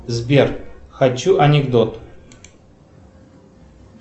сбер хочу анекдот